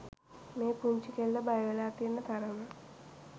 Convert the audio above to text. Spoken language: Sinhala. මේ පුංචි කෙල්ල බයවෙලා තියෙන තරම.